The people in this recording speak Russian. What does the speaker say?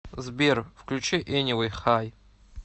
сбер включи энивэй хай